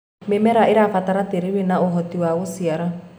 mĩmera irabatara tĩĩri wina uhoti wa guciara